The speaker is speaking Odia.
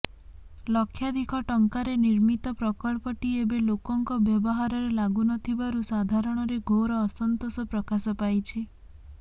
ଲକ୍ଷାଧିକ ଟଙ୍କାରେ ନିର୍ମିତ ପ୍ରକଳ୍ପଟି ଏବେ ଲୋକଙ୍କ ବ୍ୟବହାରରେ ଲାଗୁନଥିବାରୁ ସାଧାରଣରେ ଘୋର ଅସନ୍ତୋଷ ପ୍ରକାଶ ପାଇଛି